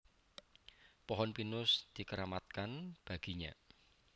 Pohon pinus dikeramatkan baginya